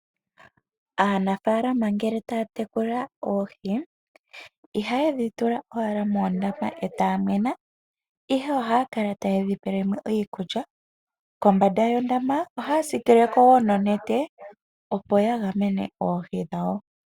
Aanafalama ngele taya tekula oohi, ihaye dhitula owala moondama etaamwena ihe ohaakala tayedhipelemo iikulya nokomba yondama ohaasikileko woo nonete opo ya gamene oohi dhawo.